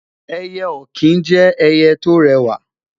eye okin jẹ ẹyẹ to rẹwa